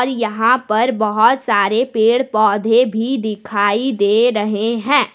यहां पर बहोत सारे पेड़ पौधे भी दिखाई दे रहे हैं।